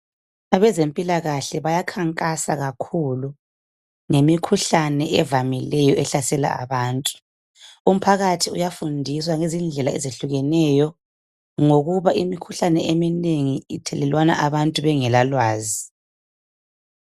Abezempilakahle bayakhankasa kakhulu ngemikhuhlane evamileyo ehlasela abantu. Umphakathi uyafundiswa ngezindlela ezehlukeneyo ngokuba imikhuhlane eminengi ithelelwana abantu bengela lwazi.